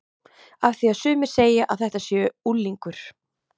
Af því að sumir segja að þetta sé unglingur.